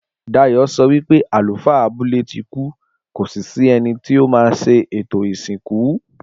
Dayò sọ wípé àlùfáà abúlé tí kú kò sí sí ẹni tí o má ṣe ètò ìsìnkú